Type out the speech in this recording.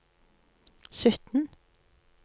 sytten